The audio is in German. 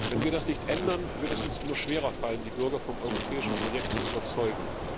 Wenn wir das nicht ändern, wird es uns immer schwerer fallen, die Bürger vom europäischen Projekt zu überzeugen.